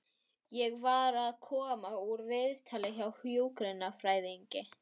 Ég var að koma úr viðtali hjá hjúkrunarfræðingi.